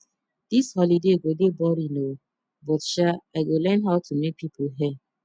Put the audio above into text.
dis holiday go dey boring oo but sha i go learn how to make people hair